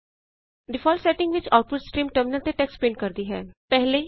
default setting ਵਿੱਚ output stream terminal ਉੱਤੇ text print ਕਰਦੀ ਹੈ